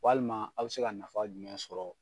Walima a bi se ka nafa jumɛn sɔrɔ